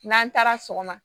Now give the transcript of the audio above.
N'an taara sɔgɔma